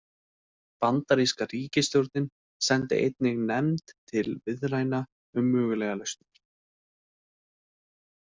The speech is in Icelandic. Bandaríska ríkisstjórnin sendi einnig nefnd til viðræðna um mögulegar lausnir.